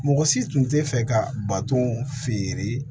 Mɔgɔ si tun tɛ fɛ ka bato feere